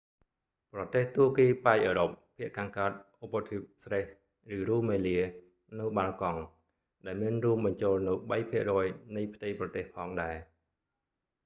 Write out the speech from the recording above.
ប្រទេសទួរគីប៉ែកអឺរ៉ុប ភាគខាងកើតឧបទ្វីប thrace ឬ rumelia នៅ balkan បាល់កង់ ដែលមានរួមបញ្ចូលនូវ 3% នៃផ្ទៃប្រទេសផងដែរ